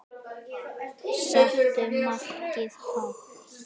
Settu markið hátt.